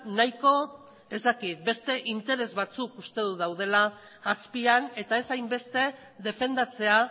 nahiko ez dakit beste interes batzuk uste dut daudela azpian eta ez hainbeste defendatzea